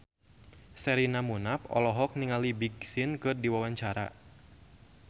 Sherina Munaf olohok ningali Big Sean keur diwawancara